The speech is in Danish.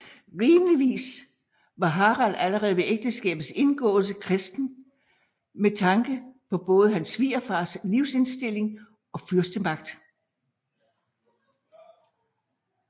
Rimeligvis var Harald allerede ved ægteskabets indgåelse kristen med tanke på både hans svigerfars trosindstilling og fyrstemagt